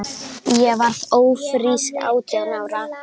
Ég varð ófrísk átján ára.